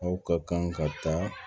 Aw ka kan ka taa